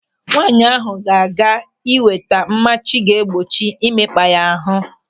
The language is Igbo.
Nwaanyị ahụ ga-aga ị nweta mmachi ga-egbochi imekpa ya ahụ.